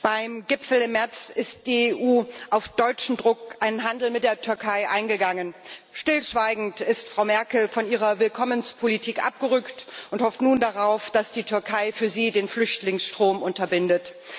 Beim Gipfel im März ist die EU auf deutschen Druck einen Handel mit der Türkei eingegangen. Stillschweigend ist Frau Merkel von ihrer Willkommenspolitik abgerückt und hofft nun darauf, dass die Türkei für sie den Flüchtlingsstrom unterbindet.